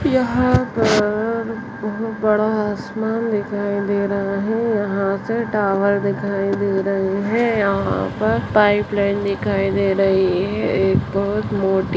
यहाँ पर बहुत बड़ा आसमान दिखाई दे रहा है यहाँ से टावर दिखाई दे रही है यहाँ पर पाइप लाइन दिखाई दे रही है एक बहुत मोटी --